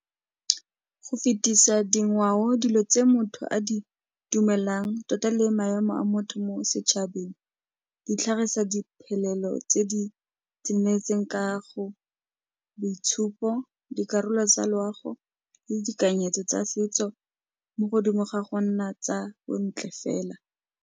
Go fetisa dingwao, dilo tse motho a di dumelang tota le maemo a motho mo setšhabeng, ditlhagisa diphelelo tse di tsenetseng ka go boitshupo, dikarolo tsa loago, le ditekanyetso tsa setso mo godimo ga go nna tsa bontle fela.